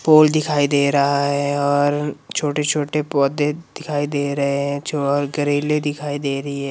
फूल दिखाई दे रहा है और छोटे-छोटे पौधे दिखाई दे रहे हैं जो ग्रिल दिखाई दे रही है।